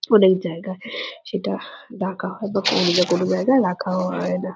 অনেক জায়গায় সেটা ডাকা হয় বা কোন না কোন জায়গায় রাখা হয় না।